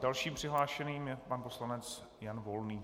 Dalším přihlášeným je pan poslanec Jan Volný.